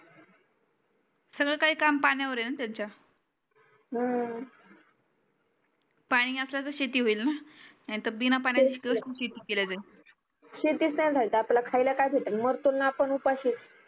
सगळ काही काम पाण्यावर आहे ना त्यांच्या पानी असल त शेती होईल ना नाही तर बिन पाण्याची शेती केल्या जाईल